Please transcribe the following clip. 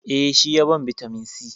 Eh, shi ya ban bitamin c.